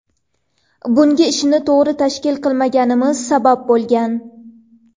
Bunga ishni to‘g‘ri tashkil qilmaganimiz sabab bo‘lgan.